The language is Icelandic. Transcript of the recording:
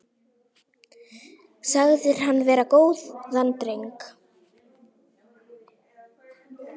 Sagðir hann vera góðan dreng.